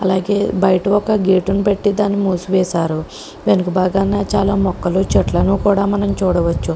అలాగే బయట ఒక గేటును పెట్టి దాన్ని మూసివేశారు వెనుక భాగాన చాలా మొక్కలు చెట్లను కూడా మనం చూడవచ్చు.